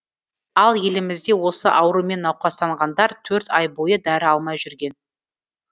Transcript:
ал елімізде осы аурумен науқастанғандар төрт ай бойы дәрі алмай жүрген